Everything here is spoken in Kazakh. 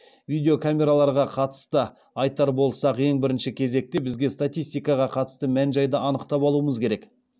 видео камераларға қатысты айтар болсақ ең бірінші кезекте бізге статистикаға қатысты мән жайды анықтап алуымыз керек